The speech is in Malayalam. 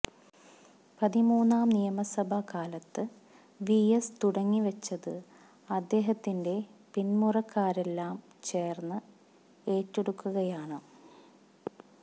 പതിമൂന്നാം നിയമസഭാ കാലത്ത് വി എസ് തുടങ്ങിവെച്ചത് അദ്ദേഹത്തിന്റെ പിന്മുറക്കാരെല്ലാം ചേര്ന്ന് ഏറ്റെടുക്കുകയാണ്